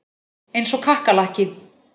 Eins og kakkalakki.